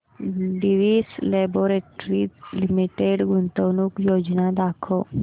Divi's Laboratories Limited गुंतवणूक योजना दाखव